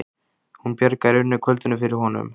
Hún bjargaði í rauninni kvöldinu fyrir honum.